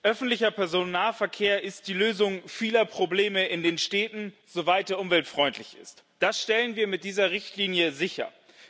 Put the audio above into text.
Öffentlicher Personennahverkehr ist die Lösung vieler Probleme in den Städten, soweit er umweltfreundlich ist. Das stellen wir mit dieser Richtlinie sicher.